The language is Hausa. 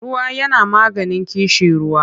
Ruwa yana maganin ƙishiruwa.